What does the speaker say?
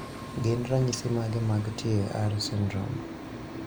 Gin ranyisi mage mag TAR syndrome?